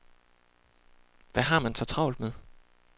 Hvad har man så travlt med?